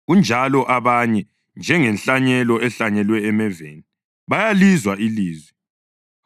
Kunjalo abanye, njengenhlanyelo ehlanyelwe emeveni, bayalizwa ilizwi;